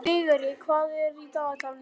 Vigri, hvað er á dagatalinu í dag?